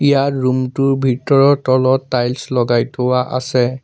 ইয়াৰ room টোৰ ভিতৰত তলত টাইলছ লগাই থোৱা আছে।